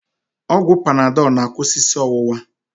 Ọgwụ panadọl na-akwụsị isi ọwụwa